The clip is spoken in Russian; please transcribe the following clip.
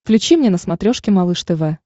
включи мне на смотрешке малыш тв